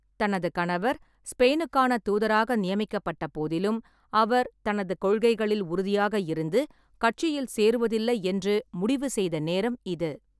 தனது கணவர் ஸ்பெயினுக்கான தூதராக நியமிக்கப்பட்ட போதிலும், அவர் தனது கொள்கைகளில் உறுதியாக இருந்து, கட்சியில் சேருவதில்லை என்று முடிவு செய்த நேரம் இது.